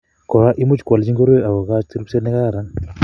Kora imuchi kwolchi ngoroik akokoch ripset nekararsn